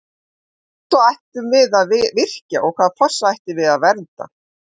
Hvaða fossa ætlum við að virkja og hvaða fossa ætlum við að vernda?